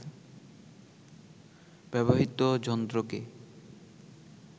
ব্যবহৃত যন্ত্রকে